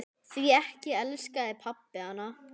Því ekki elskaði pabbi hana.